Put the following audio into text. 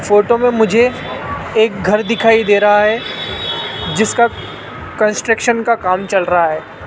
Photo में मुझे एक घर दिखाई दे रहा है जिसका कंस्ट्रक्शन का काम चल रहा है।